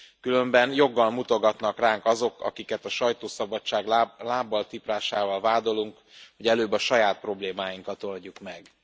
Különben joggal mutogatnak ránk azok, akiket a sajtószabadság lábbal tiprásával vádolunk, hogy előbb a saját problémáinkat oldjuk meg.